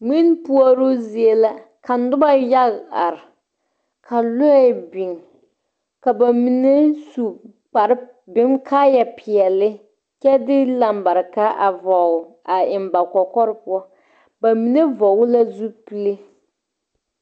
Mwini poɔroo zie la ka nuba yaga arẽ ka lɔɛ beng kaba mene su kpare kaaya peɛle kye di lambarika a vɔgle a eng ba kɔkɔre puo ba mene vɔgle la zupile.